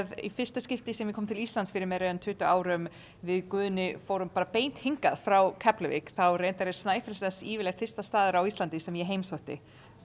í fyrsta skipti sem ég kom til Íslands fyrir meira en tuttugu árum við Guðni fórum bara beint hingað frá Keflavík þá reyndar er Snæfellsnes yfirleitt fyrsti staður á Íslandi sem ég heimsótti